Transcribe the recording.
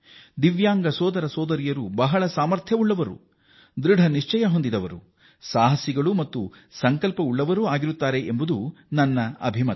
ದಿವ್ಯಾಂಗದ ಸೋದರ ಸೋದರಿಯರು ಬಹಳ ಸಾಮರ್ಥ್ಯ ಉಳ್ಳವರು ಅವರು ಧೈರ್ಯವಂತರು ದೃಢ ನಿಶ್ಚಯ ಉಳ್ಳವರು ಎಂಬುದು ನನ್ನ ಅಭಿಮತ